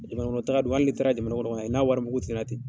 Jamanakɔnɔtaga dun hali n'i taara jamana kɔnɔ ka na i n'a warimugu ti na ten.